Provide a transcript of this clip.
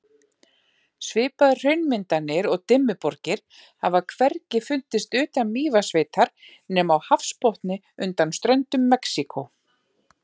Svipaðar hraunmyndanir og Dimmuborgir hafa hvergi fundist utan Mývatnssveitar nema á hafsbotni undan ströndum Mexíkó.